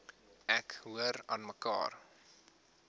ek hoor aanmekaar